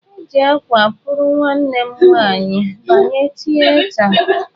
E ji akwa kpụrụ nwanne m nwanyị banye tieata.